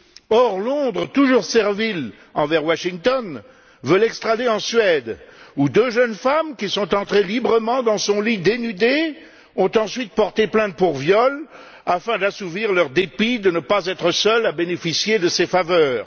Or, Londres, toujours servile envers Washington, veut l'extrader en Suède, où deux jeunes femmes, qui sont entrées librement dans son lit dénudées, ont ensuite porté plainte pour viol afin d'assouvir leur dépit de ne pas être seules à bénéficier de ses faveurs.